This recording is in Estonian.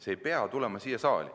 See ei pea tulema siia saali.